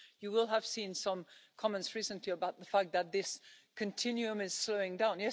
You will have seen some comments recently about the fact that this continuum is slowing down.